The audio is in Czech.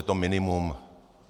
Je to minimum.